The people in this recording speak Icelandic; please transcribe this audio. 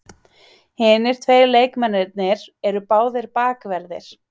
Hinir tveir leikmennirnir eru báðir bakverðir